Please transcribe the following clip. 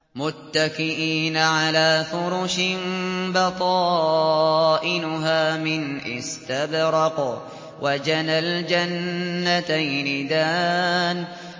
مُتَّكِئِينَ عَلَىٰ فُرُشٍ بَطَائِنُهَا مِنْ إِسْتَبْرَقٍ ۚ وَجَنَى الْجَنَّتَيْنِ دَانٍ